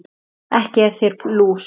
Ekki er í þér lús